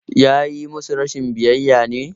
Ya yi musu rashin biyayya ne?